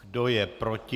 Kdo je proti?